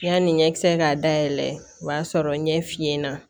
Yani ɲɛkisɛ k'a dayɛlɛ o b'a sɔrɔ ɲɛ finna